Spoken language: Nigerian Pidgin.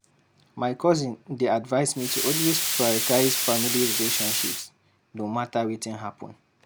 My cousin dey advise me to always prioritize family relationships, no matter wetin happen.